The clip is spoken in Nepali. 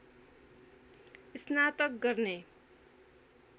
स्नातक गर्ने